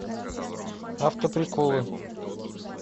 автоприколы